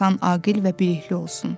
insan aqil və bilikli olsun.